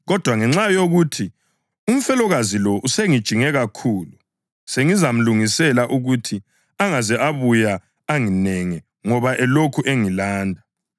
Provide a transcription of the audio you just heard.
kodwa ngenxa yokuthi umfelokazi lo usengijinge kakhulu sengizamlungisela ukuthi angaze abuya anginenge ngoba elokhu engilanda!’ ”